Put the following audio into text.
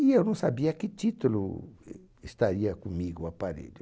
E eu não sabia a que título eh estaria comigo o aparelho.